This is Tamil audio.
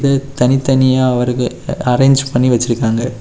இது தனித்தனியா அவர்க அரேஞ்ச் பண்ணி வச்சிருக்காங்க.